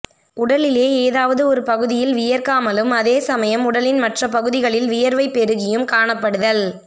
உடலிலே ஏதாவது ஒரு பகுதியில் வியர்க்காமலும் அதே சமயம் உடலின் மற்ற பகுதிகளில் வியர்வை பெருகியும் காணப்படுதல்